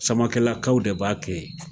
Samakelakaw de b'a kɛ